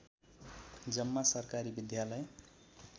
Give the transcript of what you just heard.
जम्मा सरकारी विद्यालय